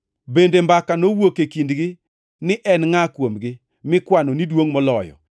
Bende mbaka, nowuok e kindgi ni en ngʼa kuomgi mikwano ni duongʼ moloyo.